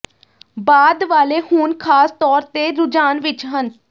ਬਾਅਦ ਵਾਲੇ ਹੁਣ ਖਾਸ ਤੌਰ ਤੇ ਰੁਝਾਨ ਵਿਚ ਹਨ